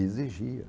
Exigia.